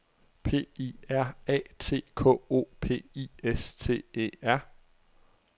P I R A T K O P I S T E R